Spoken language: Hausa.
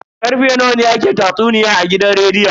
Karfe nawa ne ake tatsuniyan a gidan rediyon?